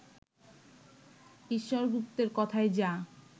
ঈশ্বর গুপ্তের, কথায় যা